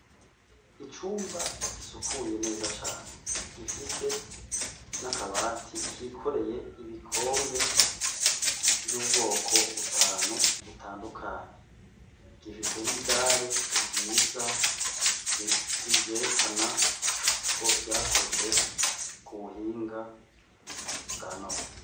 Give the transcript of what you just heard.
Icumba gisukuye neza cane gifise n'akabati kikoreye ibikombe vyubwoko butanu butandukanye gifise n'idare ryērékana ko ryakozwe ku buhinga bwanone.